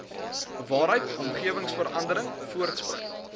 waaruit omgewingsverandering voortspruit